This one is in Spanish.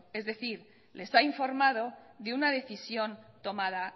es decir les ha informado de una decisión tomada